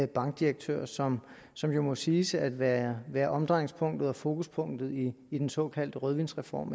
bankdirektør som som jo må siges at være være omdrejningspunktet og fokuspunktet i i den såkaldte rødvinsreform